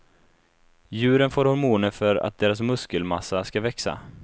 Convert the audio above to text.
Djuren får hormoner för att deras muskelmassa ska växa.